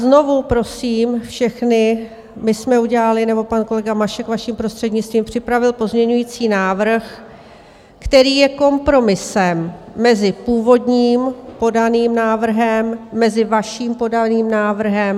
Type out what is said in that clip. Znovu prosím všechny, my jsme udělali - nebo pan kolega Mašek, vaším prostřednictvím, připravil - pozměňovací návrh, který je kompromisem mezi původním podaným návrhem, mezi vaším podaným návrhem.